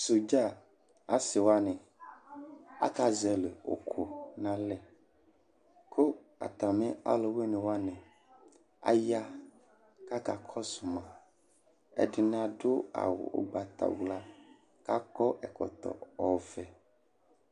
Sɔdza asiwani aka zɔli ʋkʋ n'alɛ kʋ atami ɔlʋwini wani aya k'aka kɔsʋ ma Ɛdini adʋ awʋ ʋgbatawla k'akɔ ɛkɔtɔ ɔvɛ